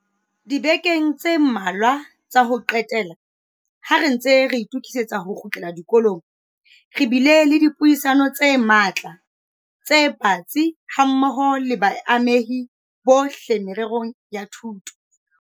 Dibekeng tse mmalwa tsa ho qetela, ha re ntse re itokisetsa ho kgutlela dikolong, re bile le dipuisano tse matla tse batsi hammoho le baamehi bohle mererong ya thuto.